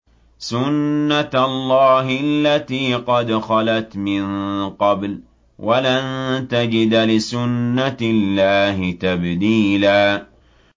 سُنَّةَ اللَّهِ الَّتِي قَدْ خَلَتْ مِن قَبْلُ ۖ وَلَن تَجِدَ لِسُنَّةِ اللَّهِ تَبْدِيلًا